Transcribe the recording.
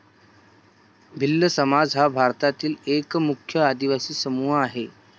भिल्ल समाज हा भारतातील एक मुख्य आदिवासी समूह आहे.